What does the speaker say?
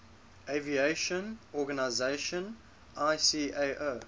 aviation organization icao